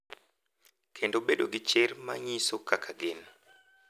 Kendo bedo gi chir mar nyiso kaka gin.